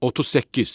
38.